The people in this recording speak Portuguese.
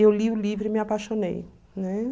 Eu li o livro e me apaixonei, né?